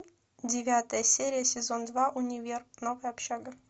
девятая серия сезон два универ новая общага